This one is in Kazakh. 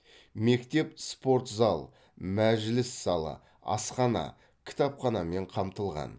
мектеп спортзал мәжіліс залы асхана кітапханамен қамтылған